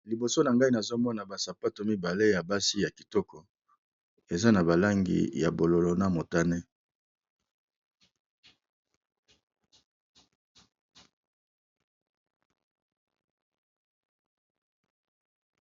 Liboso na ngai nazo mona ba sapato mibale ya basi ya kitoko, eza na ba langi ya bololo na motane.